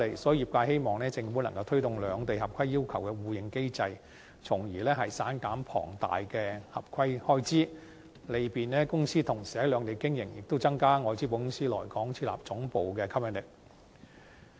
所以，業界希望政府推動兩地合規要求的互認機制，從而減省龐大的合規開支，利便公司同時在兩地經營，亦增加外資保險公司來港設立地區總部的吸引力。